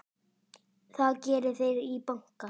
Það geri þeir í banka.